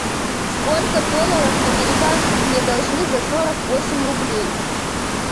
сколько долларов американских мне должны за сорок восемь рублей